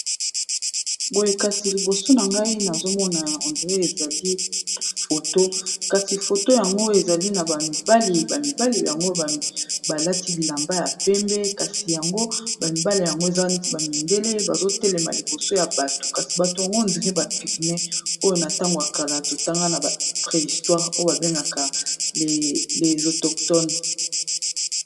koyekasi liboso na ngai nazomona ya 1dr ezali foto kasi foto yango ezali na bamibali bamibali yango balati bilamba ya pembe kasi yango bamibale yango ezala neti bamindele bazotelema liboso ya bato kasi bato yango ondr bapigme oyo na ntango akala totanga na ba préistwire oyo babengaka lesotoctone